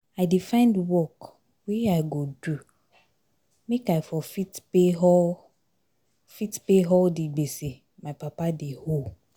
I dey find work wey I go do make I for fit pay all fit pay all di gbese my papa dey owe.